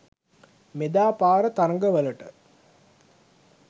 මෙදා පාර තරඟවලට